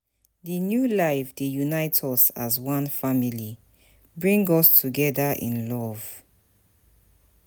Di new life dey unite us as one family, bring us together in love.